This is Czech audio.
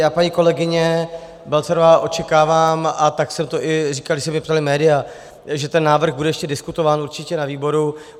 Já, paní kolegyně Balcarová, očekávám, a tak jsem to i říkal, když se mě ptala média, že ten návrh bude ještě diskutován určitě na výboru.